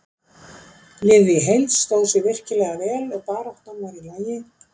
Liðið í heild sinni stóð sig virkilega vel og baráttan var í lagi.